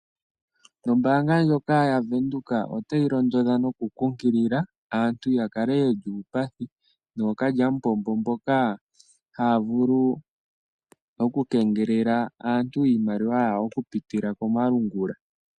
Ombaanga ndjoka ya Venduka otayi londodha noku kunkilila aantu ya kale yeli uupathi noookalyamupombo mboka haya vulu oku keengelela aantu iimaliwa yawo oku pitila komalungula.